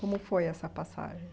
Como foi essa passagem?